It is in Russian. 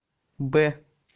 б